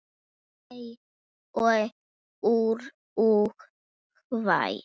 Þau og Úrúgvæ.